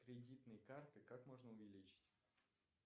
кредитные карты как можно увеличить